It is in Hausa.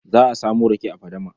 Za a samo rake a fadama.